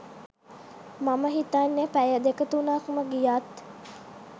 මම හිතන්නෙ පැය දෙක තුනක්ම ගියත්